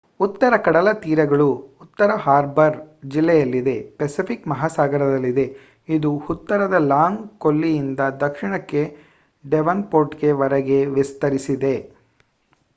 ಉತ್ತರ ಕಡಲ ತೀರಗಳು ಉತ್ತರ ಹಾರ್ಬರ್ ಜಿಲ್ಲೆಯಲ್ಲಿದೆ ಪೆಸಿಫಿಕ್ ಮಹಾಸಾಗರದಲ್ಲಿದೆ ಇದು ಉತ್ತರದ ಲಾಂಗ್ ಕೊಲ್ಲಿಯಿಂದ ದಕ್ಷಿಣಕ್ಕೆ ಡೆವೊನ್ಪೋರ್ಟ್ ವರೆಗೆ ವಿಸ್ತರಿಸಿದೆ